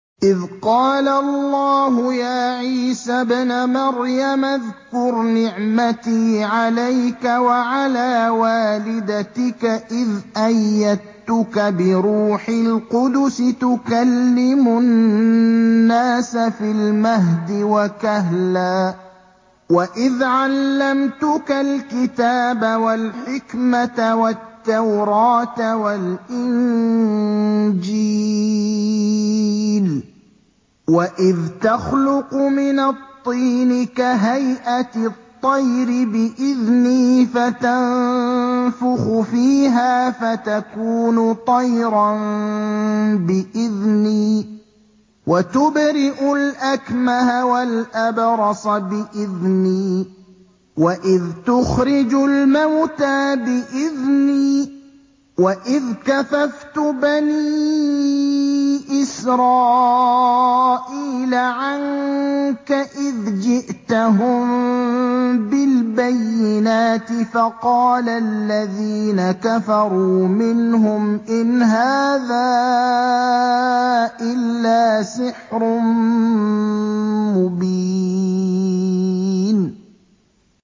إِذْ قَالَ اللَّهُ يَا عِيسَى ابْنَ مَرْيَمَ اذْكُرْ نِعْمَتِي عَلَيْكَ وَعَلَىٰ وَالِدَتِكَ إِذْ أَيَّدتُّكَ بِرُوحِ الْقُدُسِ تُكَلِّمُ النَّاسَ فِي الْمَهْدِ وَكَهْلًا ۖ وَإِذْ عَلَّمْتُكَ الْكِتَابَ وَالْحِكْمَةَ وَالتَّوْرَاةَ وَالْإِنجِيلَ ۖ وَإِذْ تَخْلُقُ مِنَ الطِّينِ كَهَيْئَةِ الطَّيْرِ بِإِذْنِي فَتَنفُخُ فِيهَا فَتَكُونُ طَيْرًا بِإِذْنِي ۖ وَتُبْرِئُ الْأَكْمَهَ وَالْأَبْرَصَ بِإِذْنِي ۖ وَإِذْ تُخْرِجُ الْمَوْتَىٰ بِإِذْنِي ۖ وَإِذْ كَفَفْتُ بَنِي إِسْرَائِيلَ عَنكَ إِذْ جِئْتَهُم بِالْبَيِّنَاتِ فَقَالَ الَّذِينَ كَفَرُوا مِنْهُمْ إِنْ هَٰذَا إِلَّا سِحْرٌ مُّبِينٌ